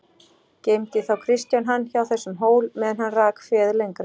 Geymdi þá Kristján hann hjá þessum hól meðan hann rak féð lengra.